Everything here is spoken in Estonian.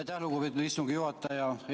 Aitäh, lugupeetud istungi juhataja!